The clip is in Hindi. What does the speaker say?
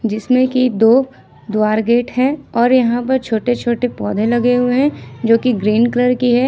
जिसमें की दो द्वार गेट है और यहां पर छोटे छोटे पौधे लगे हुए हैं जो कि ग्रीन कलर की है।